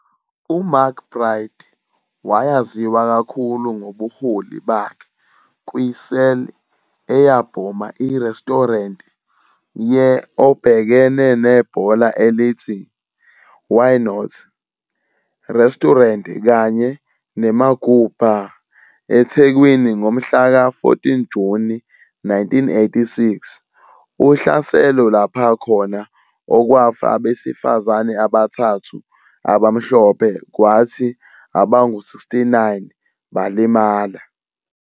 UMcBride wayaziwa kakhulu ngobuholi bakhe kwi-cell eyabhoma iresturenti ye obhekene nebhola elithi "Why Not" Restaurant kanye ne-Magoo Bar eThekwini ngomhla ka-14 Juni 1986, uhlaselo lapha khona okwafa abesifazane abathathu abamhlophe kwathi abangu-69 balimala.